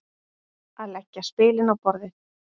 Að leggja spilin á borðið